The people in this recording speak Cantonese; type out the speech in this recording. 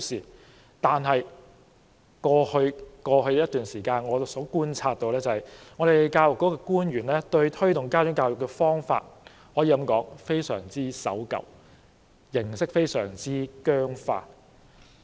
然而，根據我在過去一段時間觀察所得，教育局的官員推動家長教育的方法，可說是非常守舊，而形式也十分僵化。